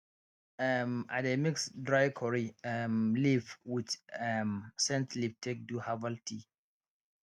um i dey mix dry curry um leaf with um scent leaf take do herbal tea